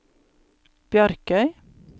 Bjarkøy